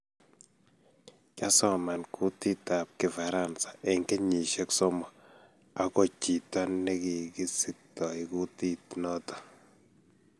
Kyasoman kutitab kifaransa eng kenyishiek somok ago chito negikisiktoi kutit noto